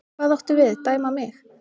Hvað áttu við, dæma mig?